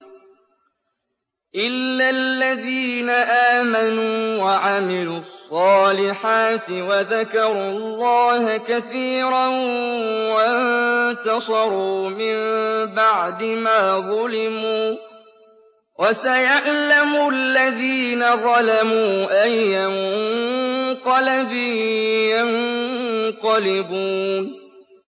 إِلَّا الَّذِينَ آمَنُوا وَعَمِلُوا الصَّالِحَاتِ وَذَكَرُوا اللَّهَ كَثِيرًا وَانتَصَرُوا مِن بَعْدِ مَا ظُلِمُوا ۗ وَسَيَعْلَمُ الَّذِينَ ظَلَمُوا أَيَّ مُنقَلَبٍ يَنقَلِبُونَ